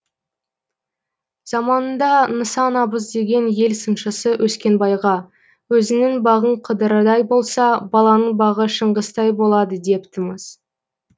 заманында нысан абыз деген ел сыншысы өскенбайға өзіңнің бағың қыдырдай болса балаңның бағы шыңғыстай болады депті мыс